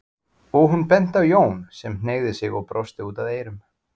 og hún benti á Jón sem hneigði sig og brosti út að eyrum.